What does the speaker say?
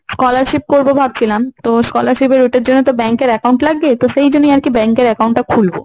scholarship করবো ভাবছিলাম। তো scholarship এর ওটার জন্য তো bank এর account লাগে। তো সেই জন্যই আরকি bank এর account টা খুলবো।